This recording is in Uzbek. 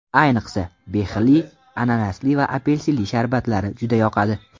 Ayniqsa, behili, ananasli va apelsinli sharbatlari juda yoqadi.